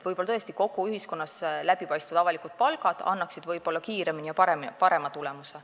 Võib-olla tõesti annaksid läbipaistvad avalikud palgad kogu ühiskonnas kiirema ja parema tulemuse.